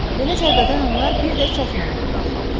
Belə zərbədən onlar bir də çətin ayağa qalxarlar.